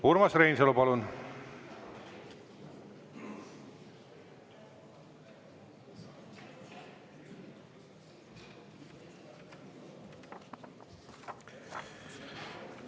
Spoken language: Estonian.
Urmas Reinsalu, palun!